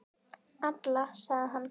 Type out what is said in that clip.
Alla, sagði hann.